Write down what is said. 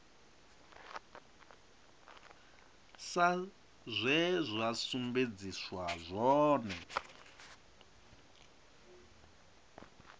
sa zwe zwa sumbedziswa zwone